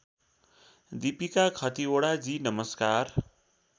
दिपिका खतिवडाजी नमस्कार